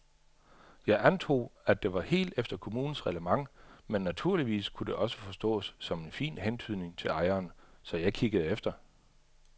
Jeg antog, at det var helt efter kommunens reglement men naturligvis kunne det også forstås som en fin hentydning til ejeren, så jeg kiggede efter.